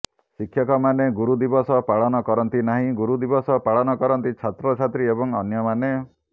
ଶିକ୍ଷକମାନେ ଗୁରୁ ଦିବସ ପାଳନ କରନ୍ତି ନାହିଁ ଗୁରୁଦିବସ ପାଳନ କରନ୍ତି ଛାତ୍ରଛାତ୍ରୀ ଏବଂ ଅନ୍ୟମାନେ